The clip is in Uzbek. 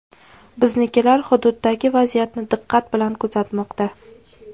Biznikilar hududdagi vaziyatni diqqat bilan kuzatmoqda.